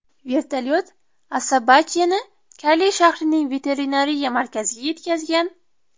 Vertolyot Asabacheni Kali shahrining veterinariya markaziga yetkazgan.